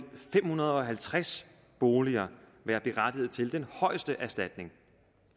fem hundrede og halvtreds boliger være berettiget til den højeste erstatning